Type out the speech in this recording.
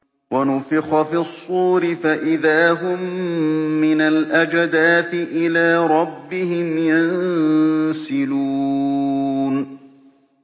وَنُفِخَ فِي الصُّورِ فَإِذَا هُم مِّنَ الْأَجْدَاثِ إِلَىٰ رَبِّهِمْ يَنسِلُونَ